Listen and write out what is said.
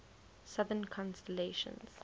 southern constellations